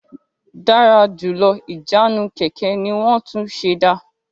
Dára jùlọ Ìjánu kẹ̀kẹ́ ní won tún ṣ'èdá